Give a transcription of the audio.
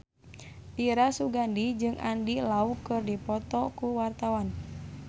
Dira Sugandi jeung Andy Lau keur dipoto ku wartawan